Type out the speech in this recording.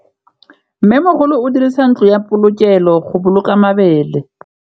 Mmêmogolô o dirisa ntlo ya polokêlô, go boloka mabele.